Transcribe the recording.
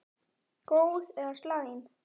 Góð eða slæm?